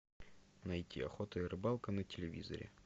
найти охота и рыбалка на телевизоре